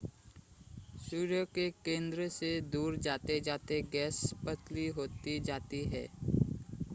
सूर्य के केंद्र से दूर जाते-जाते गैस पतली होती जाती है